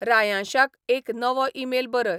रायांशाक एक नवो ईमेल बरय